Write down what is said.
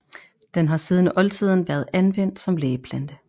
Den har siden oldtiden været anvendt som lægeplante